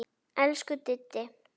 Elsku Diddi.